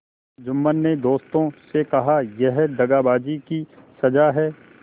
जुम्मन ने दोस्तों से कहायह दगाबाजी की सजा है